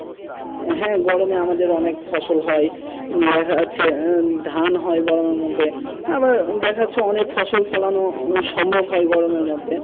হ্যাঁ গরমে আমাদের অনেক ফসল হয় ধান হয় গরমের মধ্যে আবার দেখা যাচ্ছে অনেক ফসল ফলনের সময় হয় গরমের মধ্যে।